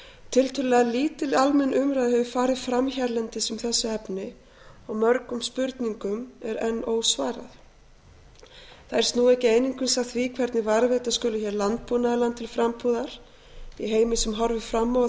tiltölulega lítil almenn umræða hefur farið fram hérlendis um þessi efni og mörgum spurningum er enn ósvarað þær snúa ekki einungis að því hvernig varðveita skuli hér landbúnaðarland til frambúðar í heimi sem horfir fram á að